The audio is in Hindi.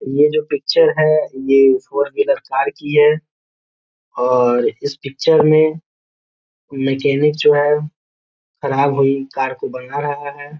ये जो पिक्चर है ये फोर व्हीलर कार की है और इस पिक्चर में कोई मैकेनिक जो है खराब हुई कार को बना रहा है।